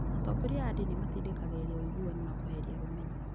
Atongoria a ndini nĩ matindĩkagĩrĩria ũiguano na kweheria rũmena.